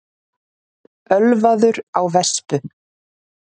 Ölvaður á vespu